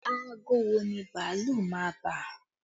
Aago wo ni bàálù máa bà?